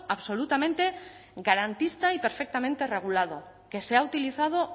absolutamente garantista y perfectamente regulado que se ha utilizado